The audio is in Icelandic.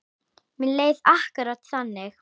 Mér leið akkúrat þannig.